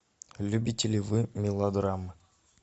любите ли вы мелодрамы